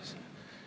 Aitäh!